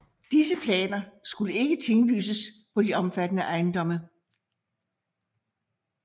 Disse planer skulle ikke tinglyses på de omfattede ejendomme